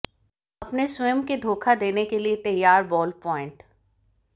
अपने स्वयं के धोखा देने के लिए तैयार बॉल प्वाइंट